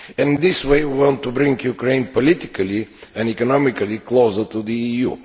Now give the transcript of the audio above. In this way we want to bring Ukraine politically and economically closer to the EU.